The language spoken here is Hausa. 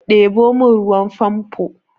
Ɗebo min ruwan famfo!